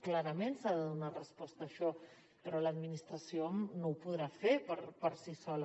clarament s’ha de donar resposta a això però l’administració no ho podrà fer per si sola